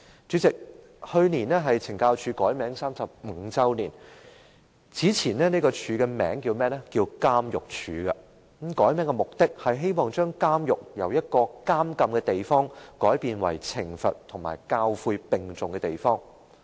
主席，去年是懲教署改名35周年，署方的前名為監獄署，改名的目的就是希望把監獄由一個監禁之處，改為懲罰和教誨並重的地方。